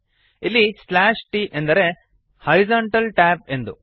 ಇಲ್ಲಿ slash T ಎಂದರೆ horizontal tab ಎಂದು